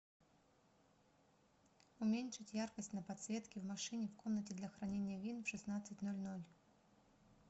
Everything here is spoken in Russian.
уменьшить яркость на подсветке в машине в комнате для хранения вин в шестнадцать ноль ноль